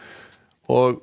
og